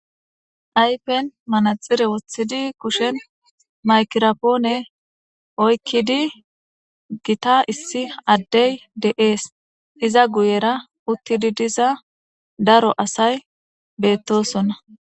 ayfen manaxire wothidi kushen maykirapoone oykkidi gita issi addey de7ees iza guyera uttidi diza daro asay beettosonna